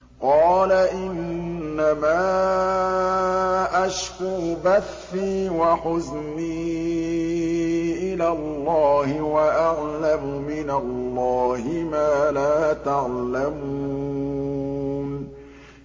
قَالَ إِنَّمَا أَشْكُو بَثِّي وَحُزْنِي إِلَى اللَّهِ وَأَعْلَمُ مِنَ اللَّهِ مَا لَا تَعْلَمُونَ